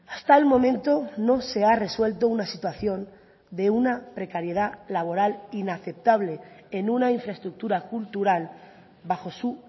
hasta el momento no se ha resuelto una situación de una precariedad laboral inaceptable en una infraestructura cultural bajo su